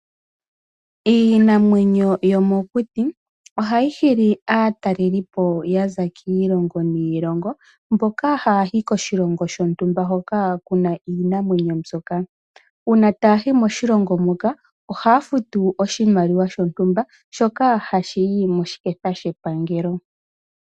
Iinamwenyo yomokuti ohayi hili aatalelipo ya za kiilongo niilongo mboka haya ya yi koshilongo shontumba hoka kuna iinamwenyo mbyoka . Uuna taya yi moshilongo moka ohaya oshimaliwa shontumba shoka hashi yi moshiketha shepangelo.